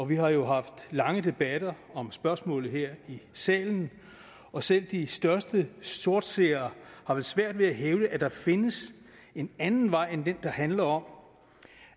vi har jo haft lange debatter om spørgsmålet her i salen og selv de største sortseere har vel svært ved at hævde at der findes en anden vej end den der handler om